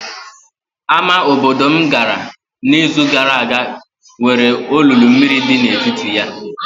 Ámá obodo m gara n'izu gara aga nwere olulu mmiri dị n'etiti ya.